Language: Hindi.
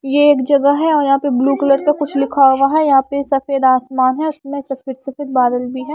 ये एक जगह है और यहां पे ब्लू कलर का कुछ लिखा हुआ है यहां पे सफेद आसमान है उसमें सफेद सफेद बादल भी है।